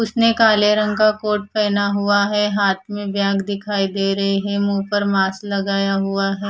उसने काले रंग का कोट पहना हुआ है हाथ में बैग दिखाई दे रहे है मुंह पर मास्क लगाया हुआ है।